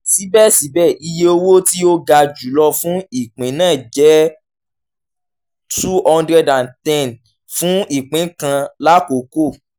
sibẹsibẹ iye owo ti o ga julọ fun ipin naa jẹ two hundred and ten fun ipin kan lakoko